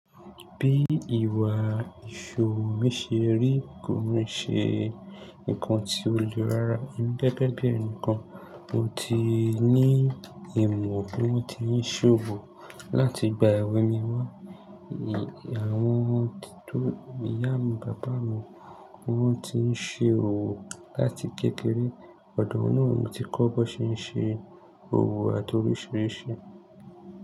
Bí ìwà ìṣòwò mí ṣe rí kò e ṣe nǹkan tí ó le rárá. Emii gege bí ẹnìkan mo ti ní ìmọ̀ bí wọ́n ti ń ṣòwò láti ìgbà èwe mi wá. Àwọn ìyá mi, bàbá mi ni wọ́n ti ń ṣe òwò láti kékeré. Ọ̀dọ̀ wọn náà mo ti kọ́ bó ṣe ń ṣe òwò àti oríṣiríṣi.